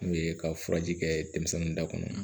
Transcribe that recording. N'u ye ka furaji kɛ denmisɛnninw da kɔnɔ